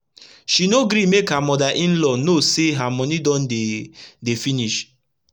she no gree make her moda in-law know say her moni don dey dey finish